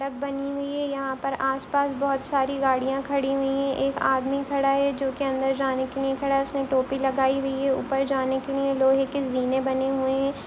सड़क बनी हुई है यहाँ पर आस-पास बहोत सारी गाड़ियां खड़ी हुई हैं एक आदमी खड़ा है जो की अंदर जाने के लिए खड़ा है उसने टोपी लगाई हुई है ऊपर जाने क लिए लोहे की जीने बने हुइ हैं।